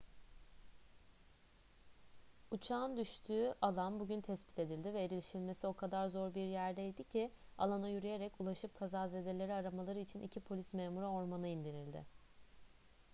uçağın düştüğü alan bugün tespit edildi ve erişilmesi o kadar zor bir yerdeydi ki alana yürüyerek ulaşıp kazazedeleri aramaları için iki polis memuru ormana indirildi